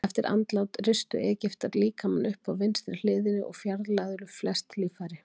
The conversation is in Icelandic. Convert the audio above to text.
Eftir andlát ristu Egyptar líkamann upp á vinstri hliðinni og fjarlægðu flest líffæri.